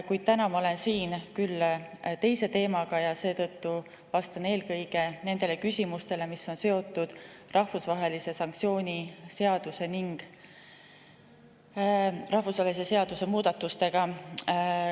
Kuid täna ma olen siin küll teise teemaga ja seetõttu vastan eelkõige nendele küsimustele, mis on seotud rahvusvahelise sanktsiooni seaduse ning selle seaduse muudatustega.